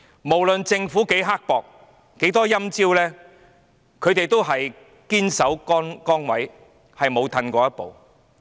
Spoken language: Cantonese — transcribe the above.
無論政府多刻薄，出多少"陰招"，他們都堅守崗位，不後退一步。